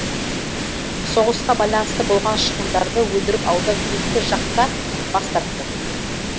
соғысқа байланысты болған шығындарды өндіріп алудан екі жақ та бас тартты